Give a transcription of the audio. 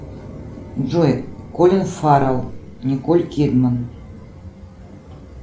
джой колин фаррелл николь кидман